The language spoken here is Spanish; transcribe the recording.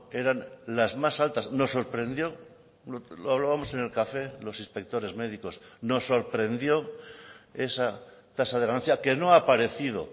eran las más altas nos sorprendió lo hablábamos en el café los inspectores médicos nos sorprendió esa tasa de ganancia que no ha aparecido